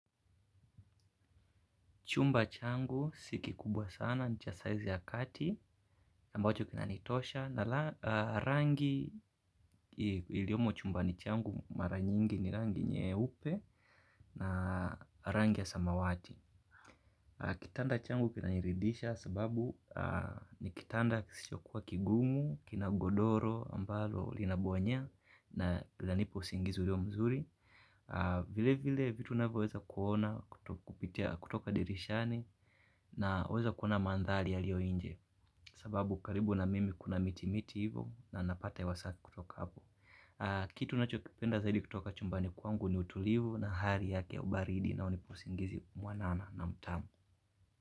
Chumba changu, si kikubwa sana, ni cha saizi ya kati, ambacho kinanitosha, na rangi iliyomo chumbani changu mara nyingi ni rangi nyeupe, na rangi ya samawati. Kitanda changu kinaniridhisha sababu ni kitanda kisicho kuwa kigumu, kina godoro ambalo linabonya, na linanipa usingizi ulio mzuri. Vilevile vitu ninavyoweza kuona kutoku kupitia kutoka dirishani. Naweza kuona mandhari yaliyo nje. Sababu karibu na mimi kuna miti miti hivo. Na ninapata hewa safi kutoka hapo. Kitu ninachokipenda zaidi kutoka chumbani kwangu ni utulivu. Na hali yake ya ubaridi inayonipa usingizi mwanana na mtamu.